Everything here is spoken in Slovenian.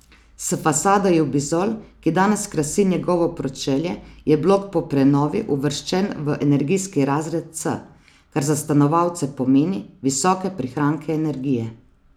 S fasado jubizol, ki danes krasi njegovo pročelje, je blok po prenovi uvrščen v energijski razred C, kar za stanovalce pomeni visoke prihranke energije.